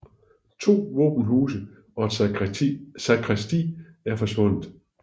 To våbenhuse og et sakristi er forsvundet